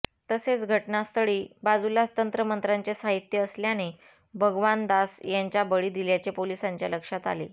तसेच घटनास्थळी बाजूलाच तंत्रमंत्राचे साहित्य असल्याने भगवान दास यांचा बळी दिल्याचे पोलीसांच्या लक्षात आले